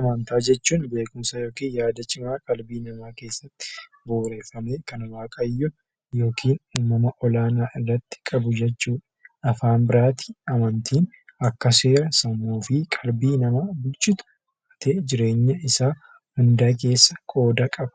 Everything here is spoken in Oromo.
Amantaa jechuun beekumsa yookin yaada cimaa qalbii namaa keessatti bu'uureffamee kan waaqayyo yokiin humna olaanaa irratti qabu jechuudha. Afaan biraatiin amantiin akka seera sammuu fi qalbii namaa bulchutti jireenya isaa hundaa keessa qooda qaba.